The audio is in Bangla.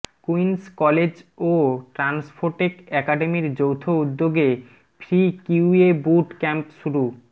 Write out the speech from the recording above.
কুইন্স কলেজ ও ট্রান্সফোটেক একাডেমির যৌথ উদ্যোগে ফ্রি কিউএ বুট ক্যাম্প শুরু